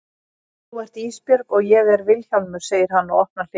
Þú ert Ísbjörg og ég er Vilhjálmur, segir hann og opnar hliðið.